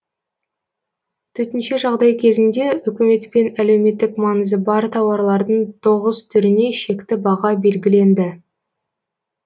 төтенше жағдай кезінде үкіметпен әлеуметтік маңызы бар тауарлардың тоғыз түріне шекті баға белгіленді